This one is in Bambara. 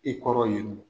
I kɔrɔ yen nɔ